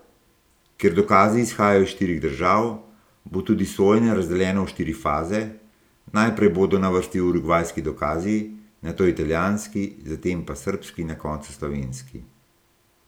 Ker dokazi izhajajo iz štirih držav, bo tudi sojenje razdeljeno v štiri faze, najprej bodo na vrsti urugvajski dokazi, nato italijanski, zatem pa srbski in na koncu slovenski.